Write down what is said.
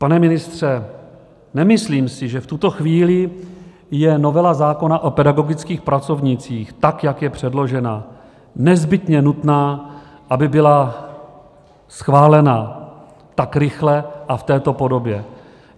Pane ministře, nemyslím si, že v tuto chvíli je novela zákona o pedagogických pracovnících, tak jak je předložena, nezbytně nutná, aby byla schválena tak rychle a v této podobě.